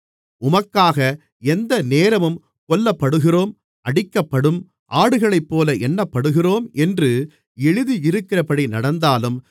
உமக்காக எந்தநேரமும் கொல்லப்படுகிறோம் அடிக்கப்படும் ஆடுகளைப்போல எண்ணப்படுகிறோம் என்று எழுதியிருக்கிறபடி நடந்தாலும்